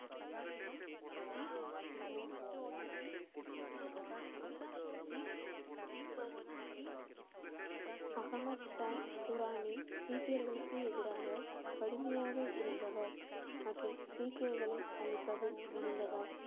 அகமது ஷா துரானி சீக்கியர்களுக்கு எதிராக கடுமையாக இருந்தவர் மற்றும் சீக்கியர்களை அழிப்பதில் முனைந்தவர்.